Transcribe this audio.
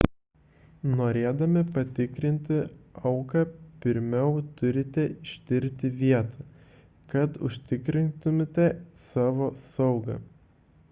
norėdami patikrinti auką pirmiau turite ištirti vietą kad užtikrintumėte savo saugą